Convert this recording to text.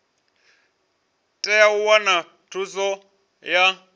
tea u wana thuso ya